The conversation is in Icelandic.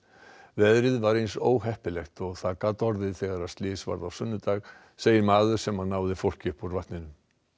veðrið var eins óheppilegt og það gat orðið þegar slys varð á sunnudag segir maður sem náði fólki upp úr vatninu